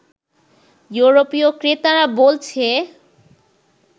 ইউরোপীয় ক্রেতারা বলছে